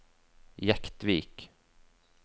Jektvik